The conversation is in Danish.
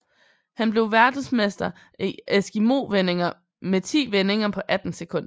Han blev verdensmester i eskimovendinger med ti vendinger på 18 sekunder